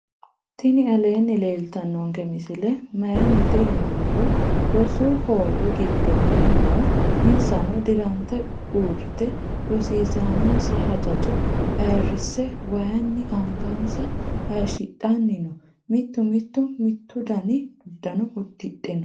tinni aleni leltanonke misile mayinite yiinumoro. roosu hoowe gidonni noo. insanno dirante urite rosisanonsa hajajo ayirise wayinni angansa hayishidhanni noo. mittu mittu mitudani udano udidhe noo.